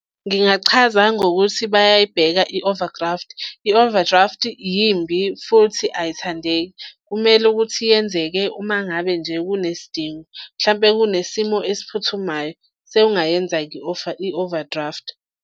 Ngingachaza ngokuthi bayayibeka i-overdraft. I-overdraft yimbi futhi ayithandeki, kumele ukuthi yenzeke uma ngabe nje kunesidingo, mhlampe kunesimo esiphuthumayo sowungayenza-ke i-offer, i-overdraft.